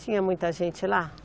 Tinha muita gente lá?